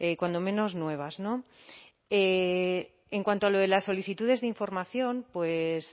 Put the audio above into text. cuando menos nuevas no en cuanto a lo de las solicitudes de información pues